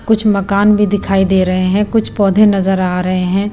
कुछ मकान भी दिखाई दे रहे हैं कुछ पौधे नजर आ रहे हैं।